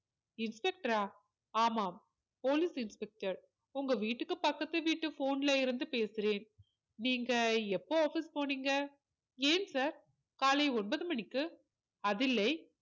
Inspector ஆ ஆமாம் police inspector உங்க வீட்டுக்கு பக்கத்து வீட்டு phone ல இருந்து பேசுறேன் நீங்க எப்போ office போனீங்க ஏன் sir காலை ஒன்பது மணிக்கு அது இல்லை